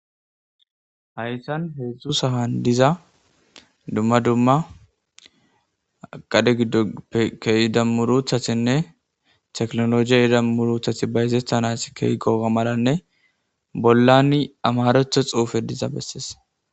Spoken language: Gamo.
haytan heedzdzu sahan diza dumma dumma qade giddopkeida muruthatinne teknologiya idamuruthati bayzestanas keygoga maranne bollani amaretho xuufe diza bessees